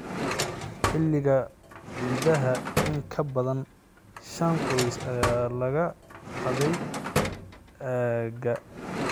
Xilligii ciidaha, in ka badan shan qoys ayaa laga xaday aagga.